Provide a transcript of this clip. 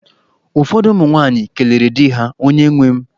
Ụfọdụ ụmụ nwaanyị kelere di ha, "onye nwem".